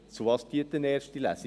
Wozu dient eine erste Lesung?